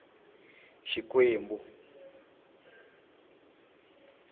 xikwembu